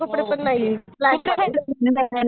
हो कुठे